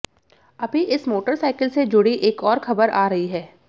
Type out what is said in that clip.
अभी इस मोटरसाइकिल से जुड़ी एक और खबर आ रही है